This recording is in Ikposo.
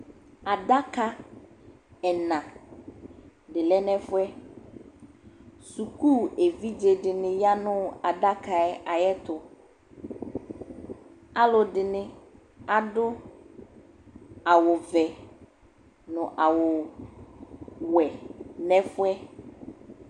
Adaka ɛna dɩ lɛ nʋ ɛfʋ yɛ Suku evidze dɩnɩ ya nʋ adaka yɛ ayɛtʋ Alʋ dɩnɩ adʋ awʋvɛ nʋ awʋwɛ nʋ ɛfʋ yɛ